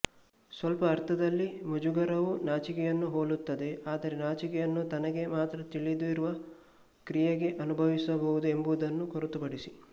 ಸ್ವಲ್ಪ ಅರ್ಥದಲ್ಲಿ ಮುಜುಗರವು ನಾಚಿಕೆಯನ್ನು ಹೋಲುತ್ತದೆ ಆದರೆ ನಾಚಿಕೆಯನ್ನು ತನಗೆ ಮಾತ್ರ ತಿಳಿದಿರುವ ಕ್ರಿಯೆಗೆ ಅನುಭವಿಸಬಹುದು ಎಂಬುದನ್ನು ಹೊರತುಪಡಿಸಿ